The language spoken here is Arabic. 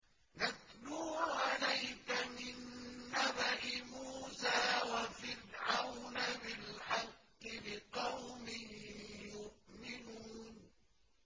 نَتْلُو عَلَيْكَ مِن نَّبَإِ مُوسَىٰ وَفِرْعَوْنَ بِالْحَقِّ لِقَوْمٍ يُؤْمِنُونَ